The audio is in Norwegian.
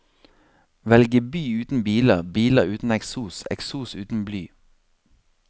Velge by uten biler, biler uten eksos, eksos uten bly.